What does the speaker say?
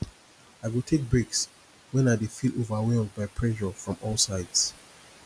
i go take breaks when i dey feel overwhelmed by pressure from all sides